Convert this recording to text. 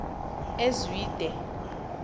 ezwide